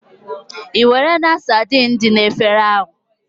Ìwerela saidin dị na efere ahụ?